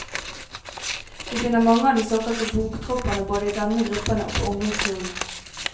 Vi finner mange av de såkalte bokdropperne både i denne gruppen og på ungdomsskolen.